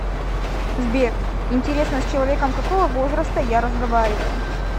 сбер интересно с человеком какого возраста я разговариваю